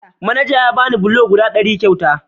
Manaja ya bani bulok guda ɗari kyauta.